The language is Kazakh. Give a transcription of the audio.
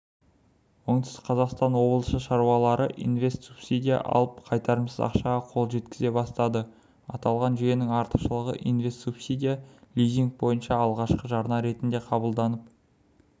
оңтүстік қазақстан облысы шаруалары инвест-субсидия алып қайтарымсыз ақшаға қол жеткізе бастады аталған жүйенің артықшылығы инвест-субсидия лизинг бойынша алғашқы жарна ретінде қабылданып